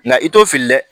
Nka i t'o fili dɛ